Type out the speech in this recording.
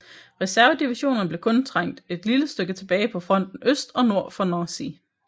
Reservedivisionerne blev kun trængt et lille stykke tilbage på fronten øst og nord for Nancy